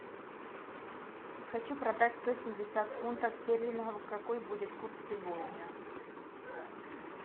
хочу продать сто семьдесят фунтов стерлингов какой будет курс сегодня